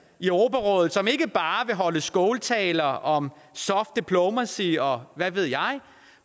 i europarådet som ikke bare vil holde skåltaler om soft diplomacy og hvad ved jeg